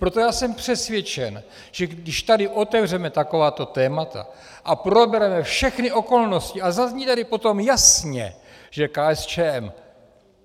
Proto já jsem přesvědčen, že když tady otevřeme takováto témata a probereme všechny okolnosti a zazní tady potom jasně, že KSČM